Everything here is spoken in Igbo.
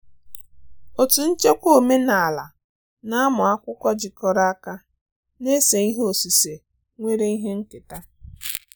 Otu nchekwa omenala na ụmụ akwụkwọ jikọrọ aka na-ese ihe osise nwere ihe nketa.